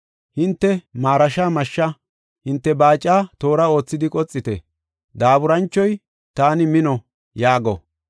Hinte marasha mashshe, hinte baaca toora oothidi qoxite! Daaburanchoy, ‘Taani mino!’ yaago.